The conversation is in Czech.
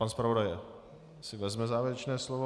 Pan zpravodaj si vezme závěrečné slovo.